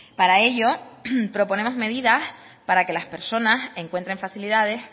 para ello proponemos medidas para que las personas encuentren facilidades